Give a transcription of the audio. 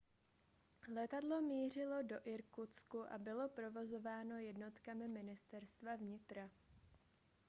letadlo mířilo do irkutsku a bylo provozováno jednotkami ministerstva vnitra